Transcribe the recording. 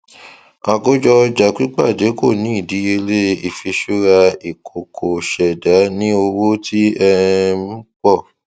akojo ọja pipade ko ní idiyele ifiṣura ikoko ṣẹda ní owó tí um pọ